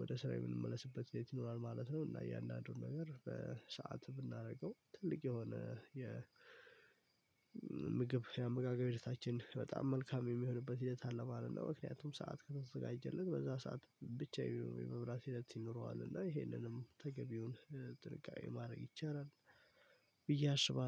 ወደ ስራ የምንመለስበት ይሆናል ማለት ነው። እና እያንዳንዱን ነገር በሰአት ብናደርገው ትልቅ የሆነ የ ምግብ የአመጋጋሪ ህይወታችን በጣም መልካም የሚሆንበት ሂደት አለ ማለት ነው። ምክንያቱም ሰዓት ከተዘጋጀለት በዛ ሰዓት ብቻ የመብራት ሂደት ይኖረዋል እና ይሄንንም ተገቢውን ጥንቃቄ ማድረግ ይቻላል። ብዬ አሽባለሁ